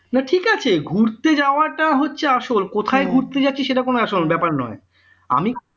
না ঠিক আছে ঘুরতে যাওয়াটা হচ্ছে আসল কোথায় ঘুরতে যাচ্ছি সেটা কোন আসল ব্যাপার নয় আমি